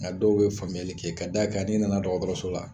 Nka dɔw bɛ faamuyali kɛ ka da a kan n'i nana dɔgɔkɔrɔso la